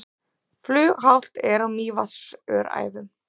Flughált er á Mývatnsöræfum